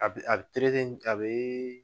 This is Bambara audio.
A be a be terege, a be